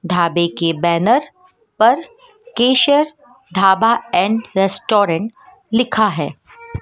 ढाबे के बैनर पर केशर ढाबा एंड रेस्टोरेंट लिखा है।